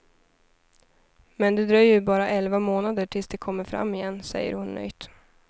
Men det dröjer ju bara elva månader tills de kommer fram igen, säger hon nöjt.